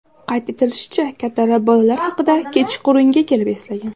Qayd etilishicha, kattalar bolalar haqida kechqurunga kelib eslagan.